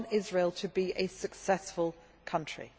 We want Israel to be a successful country.